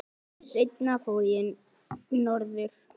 Ári seinna fór ég norður.